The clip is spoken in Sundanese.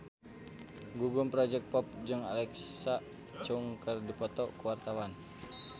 Gugum Project Pop jeung Alexa Chung keur dipoto ku wartawan